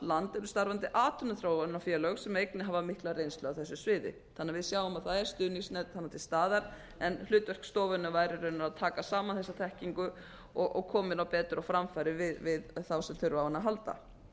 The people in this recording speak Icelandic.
land eru starfandi atvinnuþróunarfélög sem einnig hafa mikla reynslu á þessu sviði þannig að við sjáum að það er stuðningsnet þarna til staðar en hlutverk stofunnar væri raunar að taka saman þessa þekkingu og koma henni betur á framfæri við þá sem þurfa á henni að halda ég